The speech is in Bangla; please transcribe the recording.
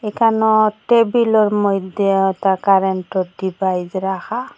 কেন টেবিলোর মইধ্যে আ ওতা কারেনটোর ডিবাইস রাখা।